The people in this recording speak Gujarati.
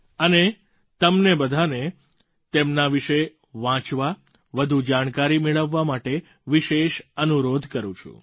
અને તમને બધાંને તેમના વિશે વાંચવા વધુ જાણકારી મેળવવા માટે વિશેષ અનુરોધ કરું છું